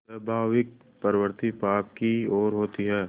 स्वाभाविक प्रवृत्ति पाप की ओर होती है